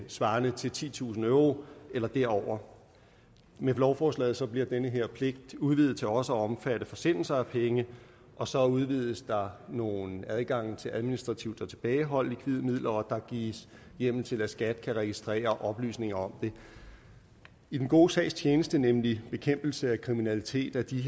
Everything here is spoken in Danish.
svarende til titusind euro eller derover med lovforslaget bliver den her pligt udvidet til også at omfatte forsendelser af penge og så udvides der nogle adgange til administrativt at tilbageholde likvide midler og der gives hjemmel til at skat kan registrere oplysninger om det i den gode sags tjeneste nemlig bekæmpelse af kriminalitet er de